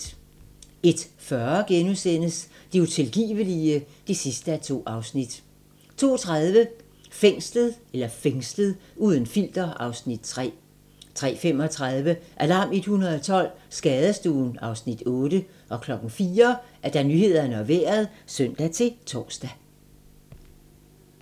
01:40: Det utilgivelige (2:2)* 02:30: Fængslet - uden filter (Afs. 3) 03:35: Alarm 112 - Skadestuen (Afs. 8) 04:00: Nyhederne og Vejret (søn-tor)